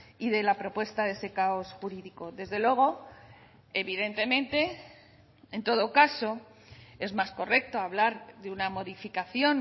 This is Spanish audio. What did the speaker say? y de la propuesta de ese caos jurídico desde luego evidentemente en todo caso es más correcto hablar de una modificación